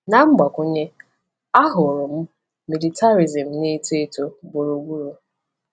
Na mgbakwunye, ahụrụ m militarism na-eto eto gburugburu.